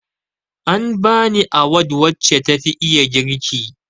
An bani awad wace tafi iya girki